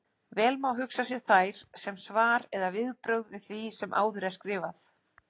Vel má hugsa sér þær sem svar eða viðbrögð við því sem áður er skrifað.